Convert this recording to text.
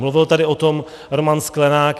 Mluvil tady o tom Roman Sklenák.